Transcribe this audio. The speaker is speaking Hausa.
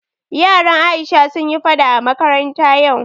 Yaran Aisha sun yi faɗa a makaranta yau